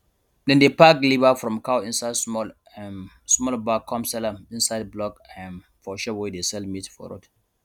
dem dey pack liver from cow inside small um small bag come sell am inside block um for shop wey dey sell meat for road